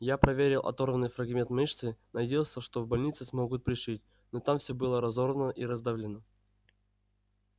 я проверил оторванный фрагмент мышцы надеялся что в больнице смогут пришить но там всё было разорвано и раздавлено